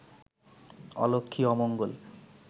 অলক্ষ্মী অমঙ্গল